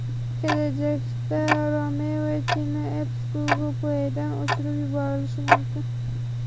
Kelajakda Remove China Apps Google Play’dan o‘chirib yuborilishi mumkin.